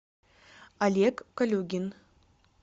олег калюгин